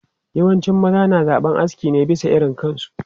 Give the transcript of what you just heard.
Yawancin maza na zaben aski ne bisa irin kansu.